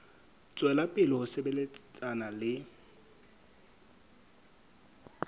tswela pele ho sebetsana le